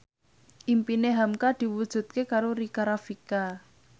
impine hamka diwujudke karo Rika Rafika